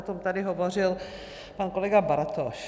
O tom tady hovořil pan kolega Bartoš.